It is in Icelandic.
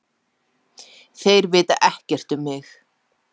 Þeir vita ekkert um mig.